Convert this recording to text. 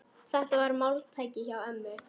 Þetta var máltæki hjá ömmu.